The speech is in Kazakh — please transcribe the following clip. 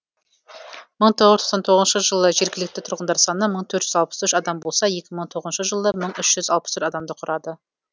мың тоғыз жүз тоқсан тоғызыншы жылы жергілікті тұрғындар саны мың төрт жүз алпыс үш адам болса екі мың тоғызыншы жылы мың үш жүз алпыс төрт адамды құрады